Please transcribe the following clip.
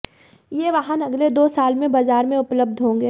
ये वाहन अगले दो साल में बाजार में उपलब्ध होंगे